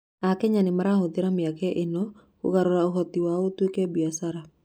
Akenya nĩ marahũthĩra mĩeke ĩno kũgarũra ũhoti wao ũtuĩke biacara.